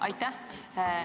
Aitäh!